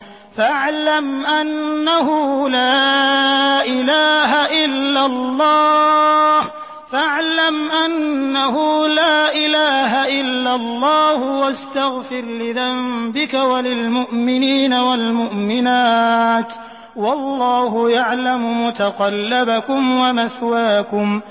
فَاعْلَمْ أَنَّهُ لَا إِلَٰهَ إِلَّا اللَّهُ وَاسْتَغْفِرْ لِذَنبِكَ وَلِلْمُؤْمِنِينَ وَالْمُؤْمِنَاتِ ۗ وَاللَّهُ يَعْلَمُ مُتَقَلَّبَكُمْ وَمَثْوَاكُمْ